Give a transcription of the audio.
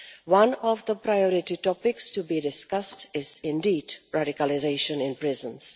One of the priority topics to be discussed is indeed radicalisation in prisons.